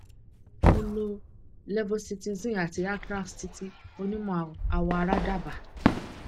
mo lo levocitizine àti atrax tí tí onímọ awọ ara dábaa